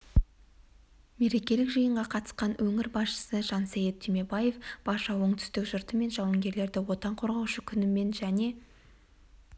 мерекелік жиынға қатысқан өңір басшысы жансейіт түймебаев барша оңтүстік жұрты мен жауынгерлерді отан қорғаушы күнімен және